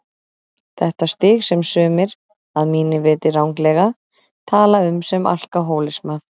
Þetta stig sem sumir, að mínu viti ranglega, tala um sem alkohólisma.